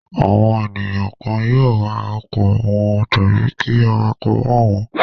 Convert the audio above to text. Àwọn ènìyàn kan yóò wa ọkọ̀ wọn tàbí kí awakọ̀ wà wọ̀n ọ́n.